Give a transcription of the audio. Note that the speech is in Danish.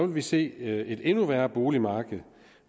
vi se et endnu værre boligmarked